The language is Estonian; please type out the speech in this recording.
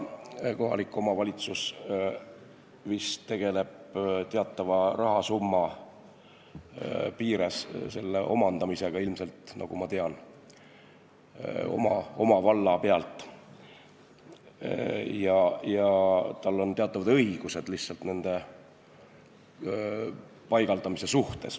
Kohalik omavalitsus tegeleb vist teatava rahasumma piires nende omandamisega, nagu ma tean oma valla pealt, ja tal on teatavad õigused lihtsalt nende kaamerate paigaldamise suhtes.